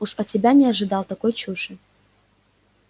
уж от тебя не ожидал такой чуши